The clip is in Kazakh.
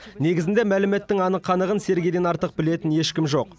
негізінде мәліметтің анық қанығын сергейден артық білетін ешкім жоқ